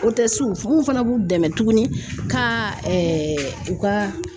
n kun fana b'u dɛmɛ tuguni ka u ka